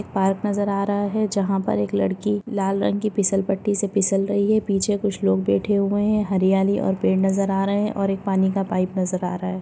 Park नजर आ रहा है जहा पर एक लड़की लाल रंग की फिसलपट्टी से फिसल रही है पीछे कुछ लोग बैठे हुए है हरियाली और पेड़ नजर आ रहे और एक पानी का पाइप नजर आ रहा है।